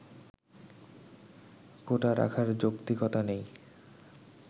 কোটা রাখার যৌক্তিকতা নেই